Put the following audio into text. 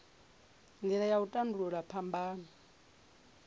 nila ya u tandululwa phambano